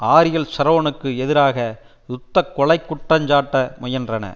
ஆரியல் ஷரோனுக்கு எதிராக யுத்த கொலைக்குற்றஞ்சாட்ட முயன்றன